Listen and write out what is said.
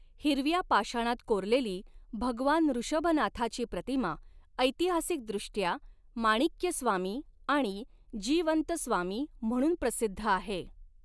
हिरव्या पाषाणात कोरलेली भगवान ऋषभनाथाची प्रतिमा ऐतिहासिकदृष्ट्या माणिक्यस्वामी आणि जीवंतस्वामी म्हणून प्रसिद्ध आहे.